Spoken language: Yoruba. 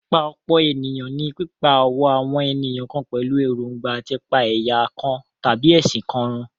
Pípa-ọ̀pọ̀-ènìyàn ní pípá ọ̀wọ́ àwọn ènìyàn kan pẹ̀lú èròńgbà à ti pa ẹ̀yà kan tàbí ẹ̀sìn kan run.